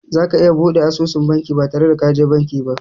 Za ka iya buɗe asusun banki ba tare da ka je banki ba.